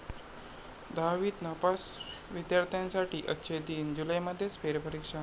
दहावीत नापास विद्यार्थ्यांसाठी 'अच्छे दिन', जुलैमध्येच फेरपरीक्षा